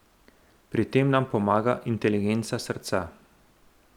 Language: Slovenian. Pri tem nam pomaga inteligenca srca.